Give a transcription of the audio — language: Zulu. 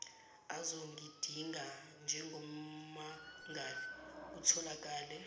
azongidinga njengommangali kutholakale